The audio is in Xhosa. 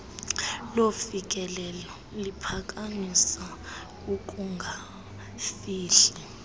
lofikelelo liphakamisa ukungafihli